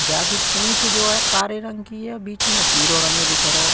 जाकी पूंछ जो है कारे रंग की है बीच मे पीरो रंग दिखरो।